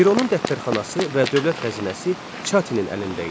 Fironun dəftərxanası və dövlət xəzinəsi Çatinin əlində idi.